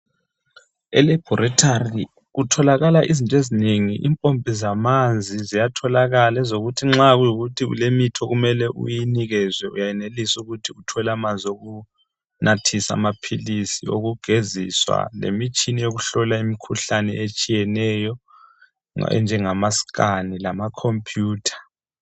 Elaboratory kutholakala izinto ezinengi, impompi zamanzi ziyathokala ezokuthi nxa kuyikuthi kulemithi okumele uyinikizwe uyenelisa ukuthi uthole amanzi okunathisa amaphilisi, okugeziswa lemitshini yokuhlola imkhuhlane etshiyeneyo enjengama skani lamakhompuyutha.